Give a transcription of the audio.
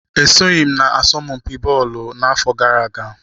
E soghị m n'asọmpi bọọlụ n'afọ gara aga.